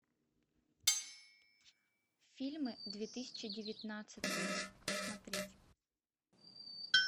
фильмы две тысячи девятнадцатый смотреть